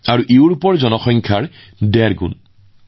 এইটোও সমগ্ৰ ইউৰোপৰ মুঠ জনসংখ্যাৰ প্ৰায় ডেৰগুণ